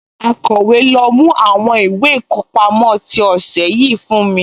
Akọ̀wé, lọ mú àwọn ìwé ìkọpámọ́ tí ọ̀sẹ̀ yìí fún mi?